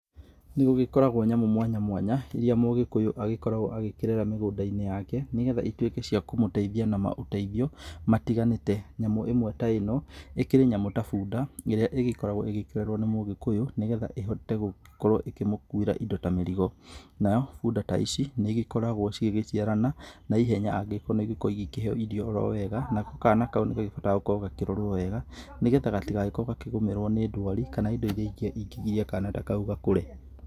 Nĩ gũgĩkoragwo nyamũ mwanya mwanya iria mũgĩkũyũ agĩkoragwo agĩkĩrera mĩgũnda-inĩ yake. Nĩ getha ituĩke cia kũmũteithia na maũteithio matiganĩte. Nyamũ ĩmwe ta ĩno ĩkĩrĩ nyamũ ta bunda ĩrĩa ĩkoragwo ĩgĩkĩrerwo nĩ mũgĩkũyũ, nĩ getha ĩhote gũkorwo ĩkĩmũkuĩra indo ta mĩrigo. Nayo bunda ta ici nĩ igĩkoragwo igĩgĩciarana na ihenya angĩgĩkorwo nĩ ikoragwo ikĩheo irio orowega nako kana kau nĩkahotaga gũkorwo gagĩkĩrorwo. Nĩ getha gatigakorwo gakĩgũmĩrwo nĩ ndwari kana indo iria ingĩ ingĩgiria kana ta kau gakũre.